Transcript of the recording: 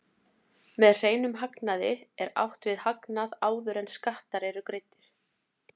Með hreinum hagnaði er átt við hagnað áður en skattar eru greiddir.